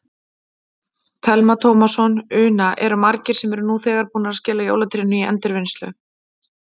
Telma Tómasson: Una, eru margir sem eru nú þegar búnir að skila jólatrénu í endurvinnslu?